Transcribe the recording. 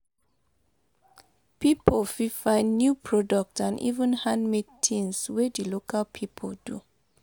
Pipo fit find new product and even handmade tins wey di local pipo do